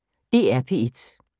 DR P1